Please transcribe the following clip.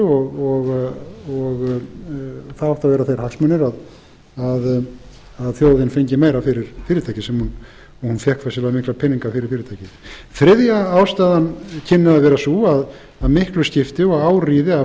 sölu það áttu að vera þeir hagsmunir að þjóðin fengi meira fyrir fyrirtækið sem hún fékk þess vegna mikla peninga fyrir fyrirtækið þriðja ástæðan kynni að vera sú að miklu skipti og á ríði að